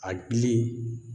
A gili